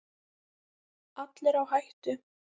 Allir á hættu.